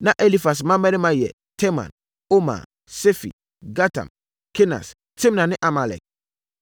Na Elifas mmammarima yɛ Teman, Omar, Sefi, Gatam, Kenas, Timna ne Amalek.